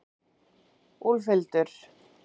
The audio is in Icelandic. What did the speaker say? Úlfhildur